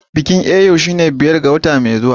Bikin Eyo shine biyar ga wata mai zuwa